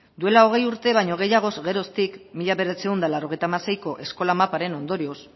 duela hogei urte baino gehiagoz geroztik mila bederatziehun eta laurogeita hamaseiko eskola maparen ondorioz